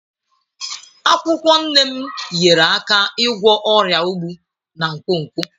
Akwụkwọ Neem nyeere aka ịgwọ ọrịa ogbu na nkwonkwo.